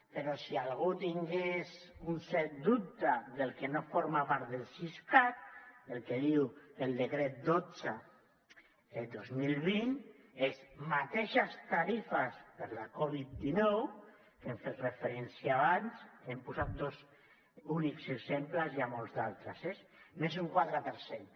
però si algú tingués un cert dubte del que no forma part del siscat el que diu el decret dotze dos mil vint és mateixes tarifes per la covid dinou que hi hem fet referència abans hem posat dos únics exemples n’hi ha molts d’altres eh més un quatre per cent